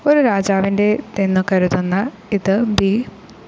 ഒരു രാജാവിൻ്റേതെന്നു കരുതുന്ന ഇത് ബി.